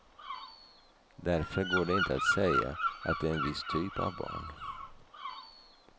Därför går det inte att säga att det är en viss typ av barn.